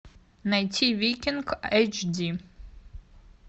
найти викинг эйч ди